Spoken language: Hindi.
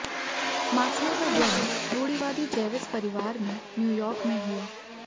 मास्लो का जन्म रूढ़िवादी जैविस परिवार में न्यूयार्क में हुआ